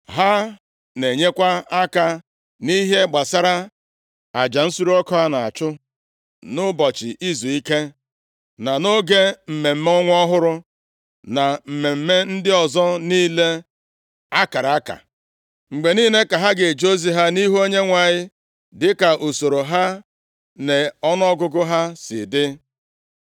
Ha na-enyekwa aka nʼihe gbasara aja nsure ọkụ a na-achụ nʼụbọchị izuike, na nʼoge mmemme ọnwa ọhụrụ, na mmemme ndị ọzọ niile a kara aka. Mgbe niile ka ha ga-eje ozi ha nʼihu Onyenwe anyị dịka usoro ha na ọnụọgụgụ ha si dị.